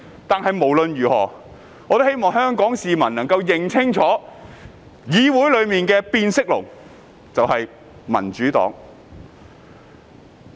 但無論如何，我希望香港市民能夠認清楚，議會內的變色龍就是民主黨。